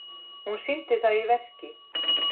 Hún sýndi það í verki.